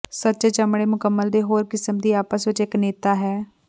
ਸੱਚੇ ਚਮੜੇ ਮੁਕੰਮਲ ਦੇ ਹੋਰ ਕਿਸਮ ਦਾ ਆਪਸ ਵਿੱਚ ਇੱਕ ਨੇਤਾ ਹੈ